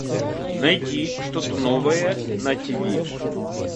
найти что то новое на тв